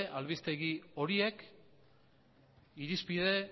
albistegi horiek irizpide